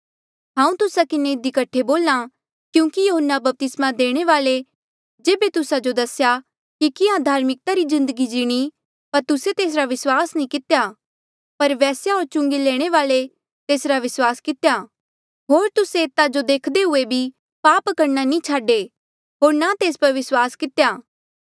हांऊँ तुस्सा किन्हें इधी कठे बोल्हा क्यूंकि यहून्ना बपतिस्मा देणे वाल्ऐ जेबे तुस्सा जो दसेया कि कियां धार्मिकता री जिन्दगी जिणी पर तुस्से तेसरा विस्वास नी कितेया पर वेस्या होर चुंगी लैणे वाल्ऐ तेसरा विस्वास कितेया होर तुस्से एतो देखदे हुए भी पाप करणा नी छाडे होर ना तेस पर विस्वास कितेया